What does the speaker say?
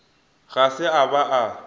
ga se a ba a